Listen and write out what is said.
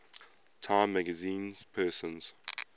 time magazine persons